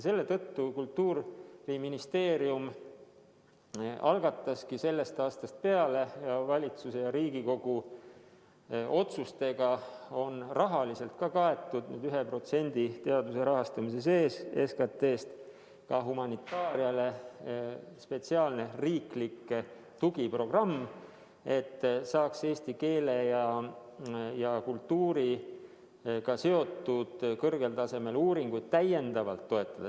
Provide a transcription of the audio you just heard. Selle tõttu Kultuuriministeerium algataski sellest aastast – ja valitsuse ja Riigikogu otsustega on see rahaliselt ka kaetud – selle SKT-st 1% ulatuses teaduse rahastamise sees humanitaariale spetsiaalse riikliku tugiprogrammi, et saaks eesti keele ja kultuuriga seotud kõrgel tasemel uuringuid täiendavalt toetada.